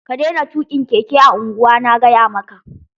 Ka daina tukin keke a unguwa' Na gaya maka!